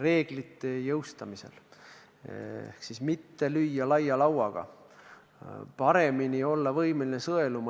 reeglite jõustamisel ehk siis seda, et ei löödaks laia lauaga, vaid oldaks paremini võimeline sõeluma.